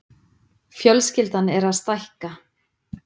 Fjölskyldan er að stækka.